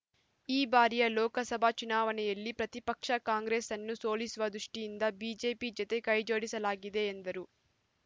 ಈ ಬಾರಿಯ ಲೋಕಸಭಾ ಚುನಾವಣೆಯಲ್ಲಿ ಪ್ರತಿಪಕ್ಷ ಕಾಂಗ್ರೆಸ್‌ನ್ನು ಸೋಲಿಸುವ ದೃಷ್ಠಿಯಿಂದ ಬಿಜೆಪಿ ಜತೆ ಕೈಜೋಡಿಸಲಾಗಿದೆ ಎಂದರು